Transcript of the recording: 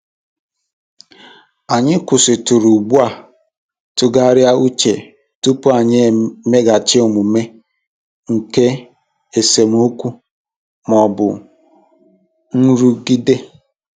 Anyị kwụsịtụrụ ugbu a tụgharịa uche tupu anyị emeghachi omume n'oge esemokwu ma ọ bụ nrụgide.